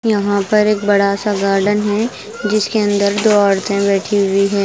यहाँ पर एक बड़ा सा गार्डन है जिसके अंदर दो औरतें बैठी हुई है।